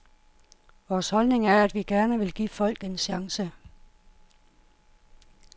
Vores holdning er, at vi gerne vil give folk en chance.